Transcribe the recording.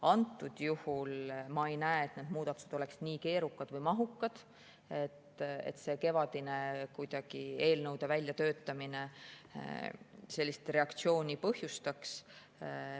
Antud juhul ma ei näe, et need muudatused oleksid nii keerukad või mahukad, et see kevadine eelnõude väljatöötamine sellist reaktsiooni põhjustaks.